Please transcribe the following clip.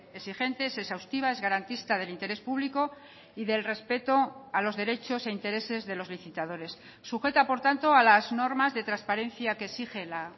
exigente es exhaustiva es garantista del interés público y del respeto a los derechos e intereses de los licitadores sujeta por tanto a las normas de transparencia que exige la